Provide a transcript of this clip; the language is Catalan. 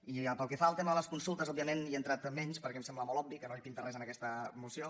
i pel que fa al tema de les consultes òbviament hi entrat menys perquè em sembla molt obvi que no hi pinta res en aquesta moció